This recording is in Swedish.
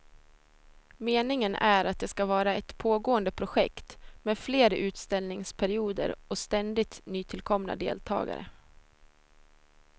Meningen är att det ska vara ett pågående projekt med fler utställningsperioder och ständigt nytillkomna deltagare.